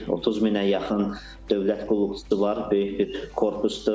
30 minə yaxın dövlət qulluqçusu var, böyük bir korpusdur.